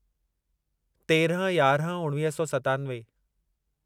तेरहं यारहं उणिवीह सौ सतानवे